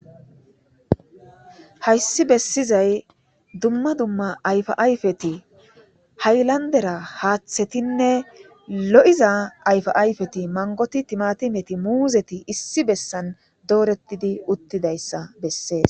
Hayssi bessizay dumma dumma ayfa ayfeti haylandera haaththetinne lo7iza ayfa ayfeti mangoti timatimeti muuzeti issi bessan doorettidi uttidayssa bessees.